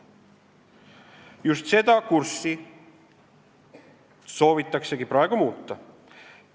Just seda kurssi soovitaksegi praegu muuta.